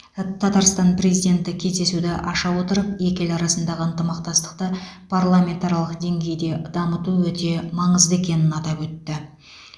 татарстан президенті кездесуді аша отырып екі ел арасындағы ынтымақтастықты парламентаралық деңгейде дамыту өте маңызды екенін атап өтті